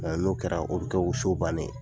Mɛ n'o kɛra, o bɛ kɛ o so bannen ye.